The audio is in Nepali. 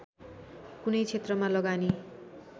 कुनै क्षेत्रमा लगानी